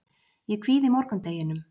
Ég kvíði morgundeginum.